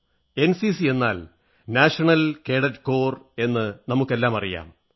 NCC എന്നാൽ national cadet corps എന്ന് നമുക്കെല്ലാമറിയാം